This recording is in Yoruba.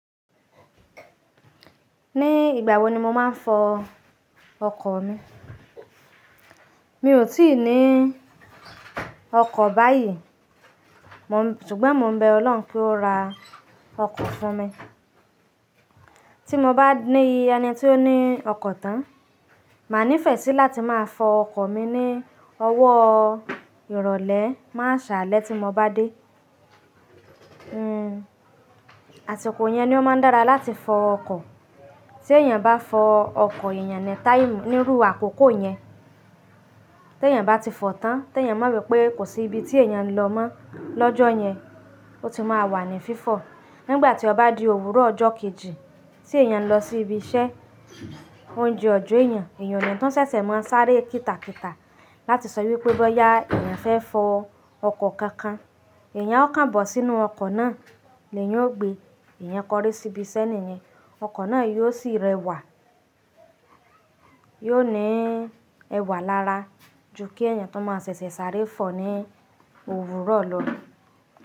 Ní ìgbà wo ni mo máa ń fọ ọkọ̀ mi? Mi ò tíì ní ọkọ̀ báyìí, ṣùgbọ́n mo ń bẹ Ọlọ́run kí ó ra ọkọ̀ fún mi. Tí mo bá ní ẹni tí ó ní ọkọ̀ tán, màá nífẹ̀ẹ́ sí láti máa fọ ọkọ̀ mi ní ọwọ́ ìrọ̀lẹ́, máa ṣàlẹ́ tí mo bá dé. Àti kò yẹn ni ó máa ń dára láti fọ ọkọ̀. Tí èèyàn bá fọ ọkọ̀ èèyàn ní táìmù, níru àkókò yẹn, tè èyàn bá ti fọ tán, tè èyàn mo wi pé kò sí ibi tí èèyàn ń lọ mọ́ lọ́jọ́ yẹn, ó ti máa wà ní fífọ̀. Nígbà tí ó bá di òwúrọ̀ ọjọ́ kejì, tí èèyàn lọ sí ibi iṣẹ́, oúnjẹ ò jọ èèyàn, èèyàn ni tó ṣẹ̀ṣẹ̀ máa ń sáré kíta kíta láti sọ wípé bóyá èèyàn fẹ́ fọ ọkọ̀ kankan. Ẹ̀èyàn ó kàn bọ̀ sínú ọkọ̀ náà ni èèyàn ó gbe èèyàn kọrí síbi iṣẹ́ niyen, ọkọ̀ náà yóò sì rẹwà. Yóò ní ẹwà lára ju kí èèyàn tó máa ṣẹ̀ṣẹ̀ sáré fọ̀ ní òwúrọ̀ lọ.